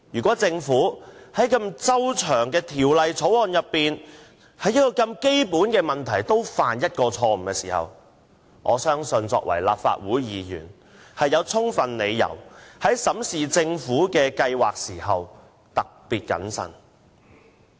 在這項如此重要的《條例草案》，如果政府竟然在基本問題上也犯下錯誤，相信我作為立法會議員，有充分理由要特別謹慎地進行審視。